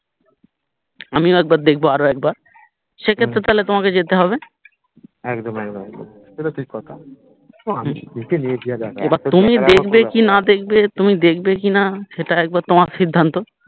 আমিও একবার দেখবো আরো একবার সেক্ষেত্রে তাহলে তোমাকে যেতে হবে একদম একদম সেটা ঠিক কথা আমি দেখে নিয়েছি যা দেখার এবার তুমি দেখবে কি না দেখবে তুমি দেখবে কিনা সেটা একবার তোমার সির্ধান্ত